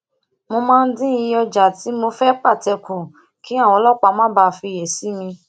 mo máa ń dín iye oja ti mo fi pate ku kí àwọn ọlópàá má bàa fiyè sí mi